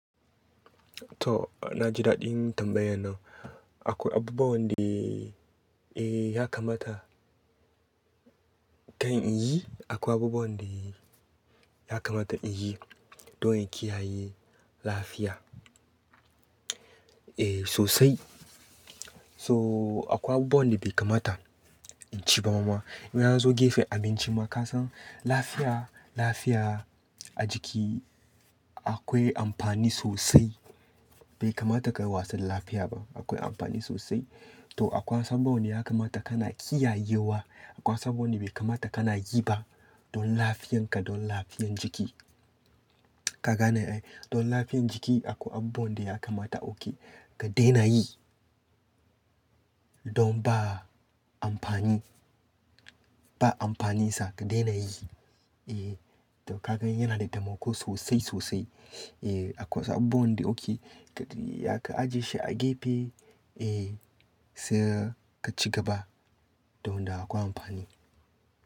To, na ji daɗin tambayan nan. Akwai abubuwan da, eh, ya kamata kan in yi, akwai abubuwan da ya kamata in yi don in kiyaye lafiya. Eh, sosai. So, akwai abubuwan da bai kamata in ci ba mama. Ina zo gefen abinci ma ka san lafiya, lafiya ajiki akwai amfani sosai. Bai kamata ka yi wasu lafiya ba, akwai amfani sosai. To, akwai wasu abubuwan da ya kamata ka na kiyayewa, akwai wasu abubuwan da bai kamata ka na yi ba don lafiyan ka don lafiyan jiki. Ka gane ai? Don lafiyan jiki akwai abubuwan da ya kamata oke ka daina yi don ba amfani, ba amfani sa ka daina yi. Eh, to ka gan yana da tamako sosai, sosai. Eh, akwai wasu abubuwan da oke ka, ya ka ajiye shi a gefe, eh, sai ka ci gaba don da akwai amfani.